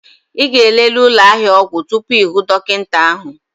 Ị ga-elele ụlọ ahịa ọgwụ tupu ịhụ dọkịta gị?